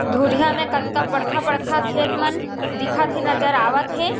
धुरिया में कतका बड़खा-बड़खा खेत मन दिखत हे नज़र आवत हे।